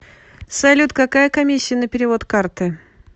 салют какая комиссия на перевод карты